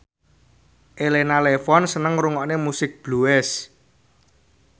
Elena Levon seneng ngrungokne musik blues